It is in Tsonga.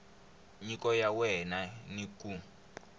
nyiko ya wena ni ku